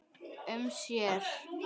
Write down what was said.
um sér.